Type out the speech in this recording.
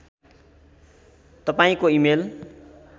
तपाईँको इमेल